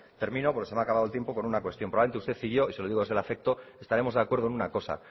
termino porque se me ha acabado el tiempo con una cuestión probablemente usted y yo y se lo digo desde el afecto estaremos de acuerdo en una cosa